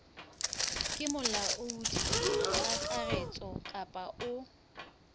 ke molaodi kakaretso kapa o